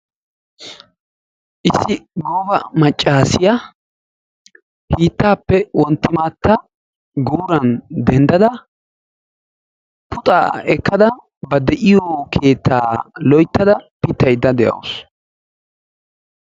Issi gooba maccasiyaa hiittaappe wonttimattaa guuran denddada puxaa ekkada ba de'iyoo keettaa loyttada piittayda de'awus.